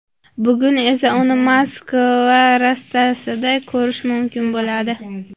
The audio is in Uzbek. Bugun esa, uni Moskva Rastasida ko‘rish mumkin bo‘ladi.